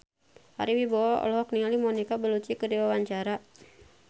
Ari Wibowo olohok ningali Monica Belluci keur diwawancara